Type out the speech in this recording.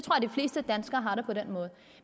fleste danskere har det på den måde